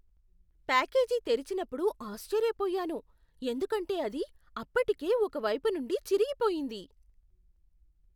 Package తెరిచినప్పుడు ఆశ్చర్యపోయాను, ఎందుకంటే అది అప్పటికే ఒక వైపు నుండి చిరిగిపోయింది!